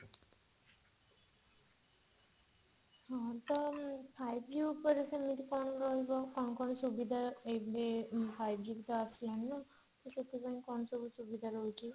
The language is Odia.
ହଁ ତ five G ଉପରେ ସେମିତି କଣ ରହିବ କଣ କଣ ସୁବିଧା ଏବେ ତ five G ବି ତ ଆସିଲାଣି ସେଥିପାଇଁ କଣ ସବୁ ସୁବିଧା ରହୁଛି